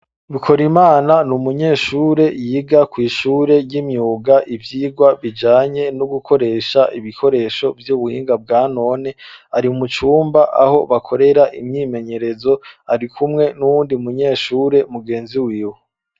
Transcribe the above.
Bikorimana, ni umunyeshure, yiga kw'ishure ry'imyuga, ivyigwa bijanye no gukoresha, ibikoresho vy'ubuhinga, bwa none; ari mu cumba, aho bakorera imyimenyerezo, ari kumwe n'uwundi munyeshure, mugenzi wiwe.